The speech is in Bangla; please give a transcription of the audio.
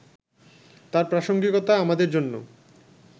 তার প্রাসঙ্গিকতা আমাদের জন্য